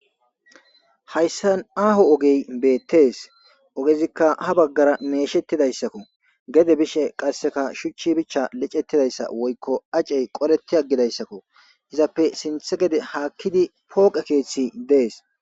hayssan aaho ogey beettees ogezikka ha baggara meeshettidayssakko gede bishe qasseka shuchchi bichcha licettidayssa woykko acey qoreti aggidayssakko izappe sinthe gede haakkidi pooqe keeththi dees